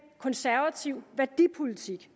konservativ værdipolitik